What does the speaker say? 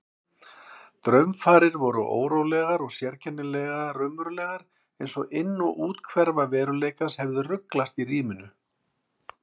Draumfarir voru órólegar og sérkennilega raunverulegar einsog inn- og úthverfa veruleikans hefðu ruglast í ríminu.